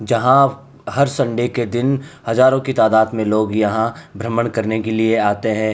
जहां हर संडे के दिन हजारों की तादात में लोग यहाँ भ्रमण करने के लिए आते हैं।